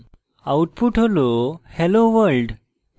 output হল helloworld